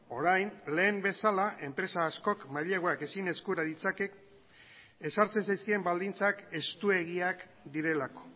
orain lehen bezala enpresa askok maileguak ezin eskura ditzake ezartzen zaizkien baldintzak estuegiak direlako